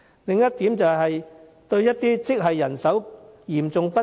另一點是，有些職系人手嚴重不足。